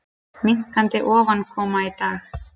Minnkandi ofankoma í dag